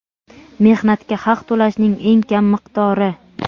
Mehnatga haq to‘lashning eng kam miqdori:.